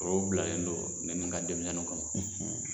Forow bilalen don ne ni ka denmisɛnninw kama.